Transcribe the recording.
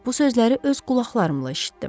Bu sözləri öz qulaqlarımla eşitdim.